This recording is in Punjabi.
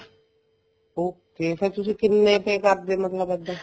okay ਫ਼ੇਰ ਤੁਸੀਂ ਕਿੰਨੀ ਕ ਕਰਦੇ ਮਤਲਬ ਇੱਦਾਂ